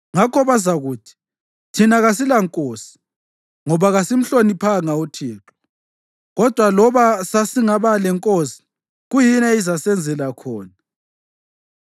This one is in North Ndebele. Ngakho bazakuthi, “Thina kasilankosi ngoba kasimhloniphanga uThixo. Kodwa loba sasingaba lenkosi, kuyini eyayingasenzela khona?”